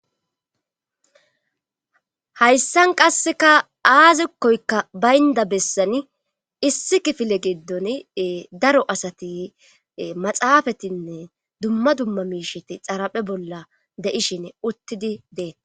hayssan qasseka aazikkoykka baynda bessani issi kifile giddon daro asati maxaafatinne dumma dumma miisheti xaraphe bolla de7ishin uttidi deea